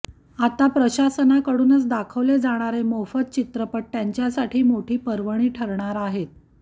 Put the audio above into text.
आता प्रशासनाकडूनच दाखवले जाणारे मोफत चित्रपट त्यांच्यासाठी मोठी पर्वणी ठरणार आहेत